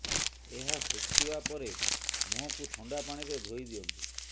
ଏହା ଶୁଖିବା ପରେ ମୁହଁକୁ ଥଣ୍ଡା ପାଣିରେ ଧୋଇ ଦିଅନ୍ତୁ